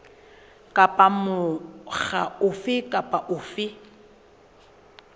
kapa mokga ofe kapa ofe